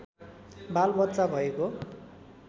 बालबच्चा भएको